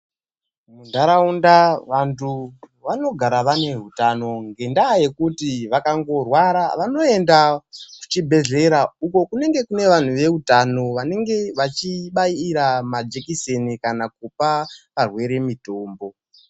Munharaunda vantu vanogara vane hutano. Ngendaa yekuti vakangorwara vanoenda kuchibhedhlera uko kunenge kune vantu veutano vanenge vachibaira majekiseni kana kupa varwere mitombo.